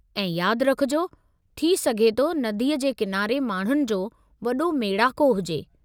ऐं यादि रखिजो, थी सघे थो नदीअ जे किनारे माण्हुनि जो वॾो मेड़ाको हुजे।